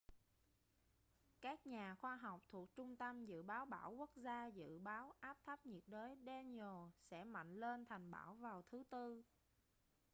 các nhà khoa học thuộc trung tâm dự báo bão quốc gia dự báo áp thấp nhiệt đới danielle sẽ mạnh lên thành bão vào thứ tư